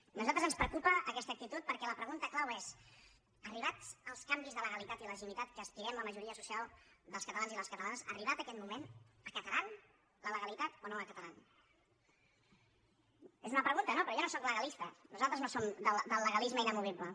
a nosaltres ens preocupa aquesta actitud perquè la pregunta clau és arribats els canvis de legalitat i legitimitat a què aspirem la majoria social dels catalans i les catalanes arribat aquest moment acataran la legalitat o no l’acataran és una pregunta no però jo no sóc legalista nosaltres no som del legalisme inamovible